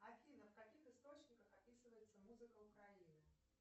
афина в каких источниках описывается музыка украины